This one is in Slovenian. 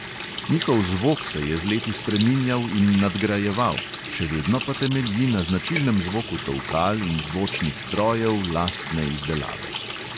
Njihov zvok se je z leti spreminjal in nadgrajeval, še vedno pa temelji na značilnem zvoku tolkal in zvočnih strojev lastne izdelave.